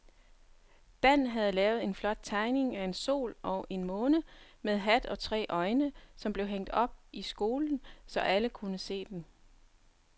Dan havde lavet en flot tegning af en sol og en måne med hat og tre øjne, som blev hængt op i skolen, så alle kunne se den.